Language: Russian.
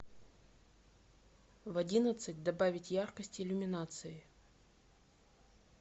в одиннадцать добавить яркость иллюминации